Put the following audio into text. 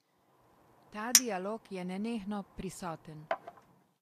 Ta dialog je nenehno prisoten.